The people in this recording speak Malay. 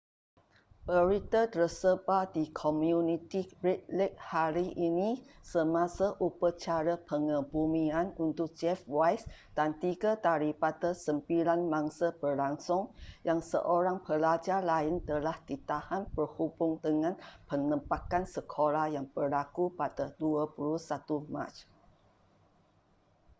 berita tersebar di komuniti red lake hari ini semasa upacara pengebumian untuk jeff weise dan tiga daripada sembilan mangsa berlangsung yang seorang pelajar lain telah ditahan berhubung dengan penembakan sekolah yang berlaku pada 21 mac